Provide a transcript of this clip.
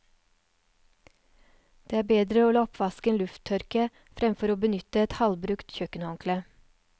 Det er bedre å la oppvasken lufttørke fremfor å benytte et halvbrukt kjøkkenhåndkle.